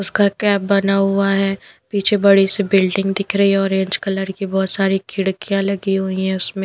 उसका कैप बना हुआ है पीछे बड़ी सी बिल्डिंग दिख रही है ऑरेंज कलर की बहुत सारी खिड़कियाँ लगी हुई है उसमें --